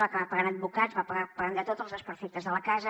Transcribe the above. va acabar pagant advocats va acabar pagant tots els desperfectes de la casa